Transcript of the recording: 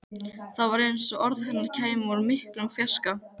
Það var eins og orð hennar kæmu úr miklum fjarska.